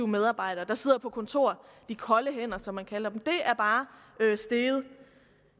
medarbejdere der sidder på kontor de kolde hænder som man kalder dem er steget at